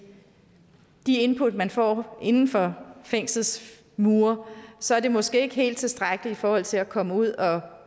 de input man får inden for fængslets mure så er det måske ikke helt tilstrækkeligt i forhold til at komme ud og